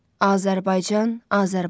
Azərbaycan, Azərbaycan.